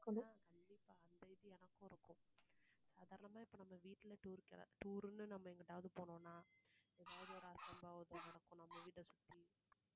கண்டிப்பா அந்த இது எனக்கும் இருக்கும். அதெல்லாமே இப்போ நம்ம வீட்டுல tour க்கு tour னு நம்ம எங்கேயாவது போனோம்னா நம்ம கிட்ட சொல்லி